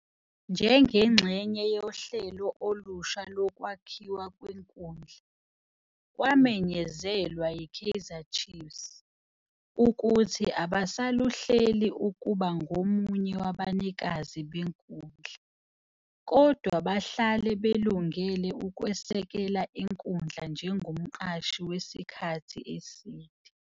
Njengengxenye yohlelo olusha lokwakhiwa kwenkundla, kwamenyezelwa yi-Kaizer Chiefs, ukuthi abasaluhleli ukuba ngomunye wabanikazi benkundla, kodwa bahlale belungele ukusekela inkundla njengomqashi wesikhathi eside.